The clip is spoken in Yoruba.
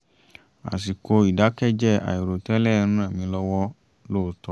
àsìkò ìdákẹ́jẹ́ àìrò tẹ́lẹ̀ ń ràn mí lọ́wọ́ lóòótọ́